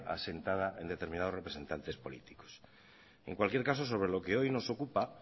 asentada en determinados representantes políticos en cualquier caso sobre lo que hoy nos ocupa